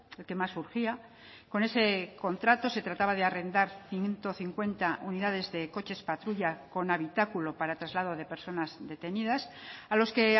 el que más urgía con ese contrato se trataba de arrendar ciento cincuenta unidades de coches patrulla con habitáculo para traslado de personas detenidas a los que